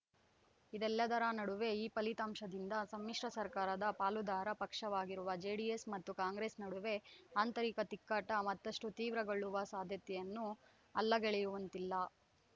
ಇದೆಲ್ಲದರ ನಡುವೆ ಈ ಫಲಿತಾಂಶದಿಂದ ಸಮ್ಮಿಶ್ರ ಸರ್ಕಾರದ ಪಾಲುದಾರ ಪಕ್ಷವಾಗಿರುವ ಜೆಡಿಎಸ್‌ ಮತ್ತು ಕಾಂಗ್ರೆಸ್‌ ನಡುವೆ ಆಂತರಿಕ ತಿಕ್ಕಾಟ ಮತ್ತಷ್ಟುತೀವ್ರಗೊಳ್ಳುವ ಸಾಧ್ಯತೆಯನ್ನೂ ಅಲ್ಲಗಳೆಯುವಂತಿಲ್ಲ